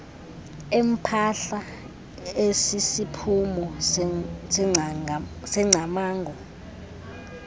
empahla esisiphumo sengcamango